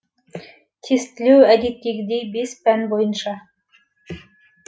тестілеу әдеттегідей пән бойынша